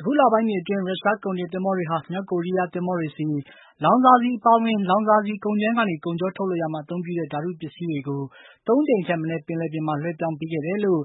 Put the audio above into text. အခုလပိုင်းတွေအတွင်း ရုရှားကုန်တင်သင်္ဘောတွေဟာ မြောက်ကိုရီးယားသင်္ဘောတွေဆီ လောင်စာဆီအပါအဝင် လောင်စာဆီကုန်ကြမ်းကနေ ကုန်ချောထုတ်လုပ်ရာမှာ အသုံးပြုတဲ့ ဓါတုပစ္စည်းတွေကို ၃ ကြိမ်ထက်မနည်း ပင်လယ်ပြင်မှာ လွှဲပြောင်းပေးခဲ့တယ်လို့